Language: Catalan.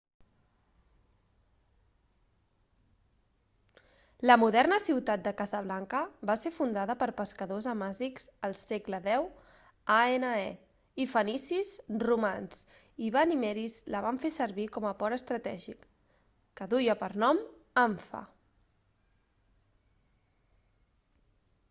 la moderna ciutat de casablanca va ser fundada per pescadors amazics el segle x ane i fenicis romans i benimerins la van fer servir com a port estratègic que duia per nom anfa